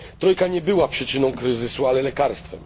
Trojka nie była przyczyną kryzysu, ale lekarstwem.